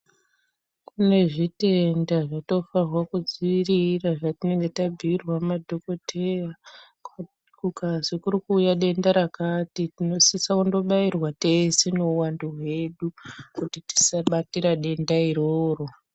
Kune zvitenda zvatinofana kudziirira zvatinenge tabhuirwa ngemadhokodheya kukazi kuri kuuya denda rakati tinofana kundobairwa teshe kuti tisabatira denda iroro.